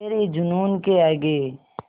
तेरे जूनून के आगे